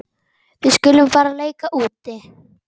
Við skulum bara leika úti.